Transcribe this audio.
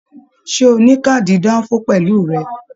Ṣe o ni kaadi danfo pẹlú rẹ?